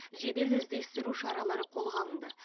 жедел іздестіру шаралары қолға алынды